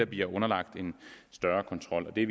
bliver underlagt en større kontrol og det